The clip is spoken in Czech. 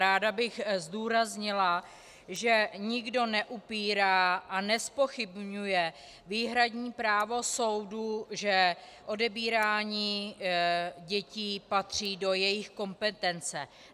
Ráda bych zdůraznila, že nikdo neupírá a nezpochybňuje výhradní právo soudu, že odebírání dětí patří do jejich kompetence.